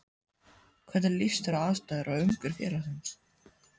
Hvernig líst þér á aðstæður og umgjörð félagsins?